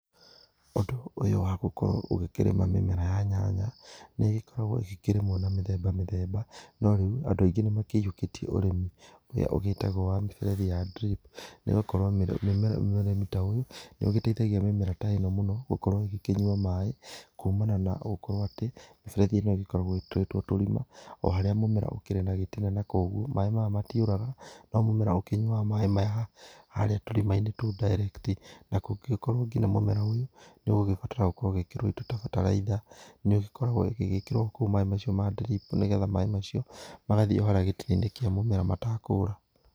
Ũndũ ũyũ wa gũkorwo ũgĩkĩrĩma mĩmera ya nyanya nĩ ĩgĩkoragwo ĩgĩkĩrĩmwo na mĩthemba mĩthemba, no rĩu andũ aingĩ nĩ makĩiyũkĩtie ũrĩmi ũrĩa ũgĩtagwo wa mĩberethi ya drip na ĩgagĩkorwo ũrĩmi ta ũyũ nĩ ũgĩteithagia mĩmera ta ĩno gũkorwo ĩgĩkĩnyua maĩ kumana na gũkorwo atĩ mĩberethi ĩno ĩgĩkoragwo ĩgĩtũrĩtwo tũrima o harĩa mũmera ũkĩrĩ na gĩtina na kũguo maĩ maya matiũraga, no mũmera ũkĩnyuaga maĩ maya harĩa tũrimaĩnĩ tou direct na kũngĩgĩkorwo nginya mũmera ũyũ nĩ ũgũgĩbatara gwĩkĩrwo indo ta bataraitha, nĩ ũgĩkoragwo ũgĩgĩkĩrwo kou maĩ macio ma drip nĩgetha maĩ macio, magathiĩ o haria gĩtina-inĩ kĩa mũmera matekũra.